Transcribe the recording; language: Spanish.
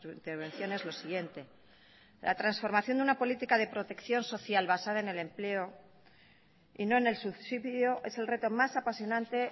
intervenciones lo siguiente la transformación de una política de protección social basada en el empleo y no en el subsidio es el reto más apasionante